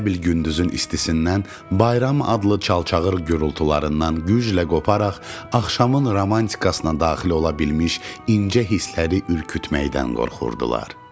Elə bil gündüzün istisindən bayram adlı çalçağır gürültularından güclə qoparaq axşamın romantikasına daxil ola bilmiş incə hissləri ürkütməkdən qorxurdu.